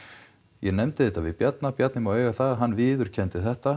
ég nefndi þetta við Bjarna Bjarni má eiga það að hann viðurkenndi þetta